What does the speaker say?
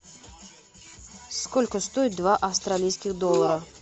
сколько стоит два австралийских доллара